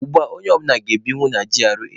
Ugbua, onye ọ bụla ga-ebinwu na GRA.